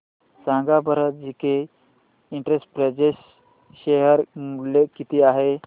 सांगा बरं J K Enterprises share मूल्य किती आहे